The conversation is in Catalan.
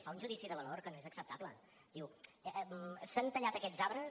fa un judici de valor que no és acceptable diu s’han tallat aquests arbres